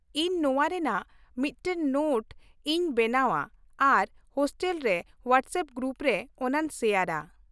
ᱤᱧ ᱱᱚᱶᱟ ᱨᱮᱭᱟᱜ ᱢᱤᱫᱴᱟᱝ ᱱᱳᱴ ᱤᱧ ᱵᱮᱱᱟᱣᱼᱟ ᱟᱨ ᱦᱳᱥᱴᱮᱞ ᱦᱳᱣᱟᱴᱥᱮᱯ ᱜᱨᱩᱯ ᱨᱮ ᱚᱱᱟᱧ ᱥᱮᱭᱟᱨᱼᱟ ᱾